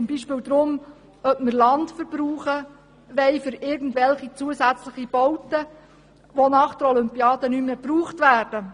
zum Beispiel darum, ob wir Land mit irgendwelchen zusätzlichen Gebäuden überbauen sollen, die nach der Olympiade nicht mehr gebraucht werden.